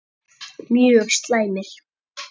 Mjög slæmir